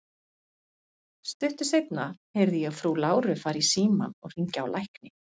Stuttu seinna heyrði ég frú Láru fara í símann og hringja á lækni.